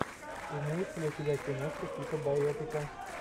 имеется ли у тебя киношка типа байопика